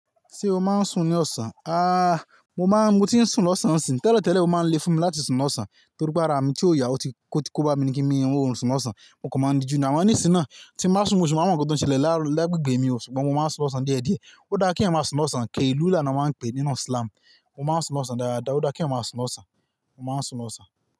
Ṣé o máa ń sùn ní ọ̀sán? Ah mo máa ń, mo ti ń sùn lọ́sàn-án sí, tẹ́lẹ̀tẹ́lẹ̀ ẹ máa ń lé fún mi láti sùn lọ́sán torí pé ara mi tí ò yà, ó ti kó bá mi ní kí mi ri orun sùn lọ́sán, mo kàn máa ń díju. Àmo nísìná tí máa sùn mo ṣi ma ń mo nkan to ṣẹlẹ̀ láró lẹ́gbẹ̀gbẹ̀ mi ṣùgbọ́n mo máa ń sùn lọ́sán díẹ̀díẹ̀. Ó dá kí eniyan máa sùn lọ́sán, keliula ni wọ́n máa ń pè nínú slam. Mo máa ń sùn lọ́sán dáadáa, ó dá kí eyan máa sùn lọ́sán, mo máa ń sùn lọ́sán.